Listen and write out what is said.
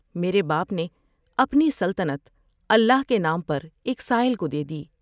میرے باپ نے اپنی سلطنت اللہ کے نام پر ایک سائل کو دے دی ۔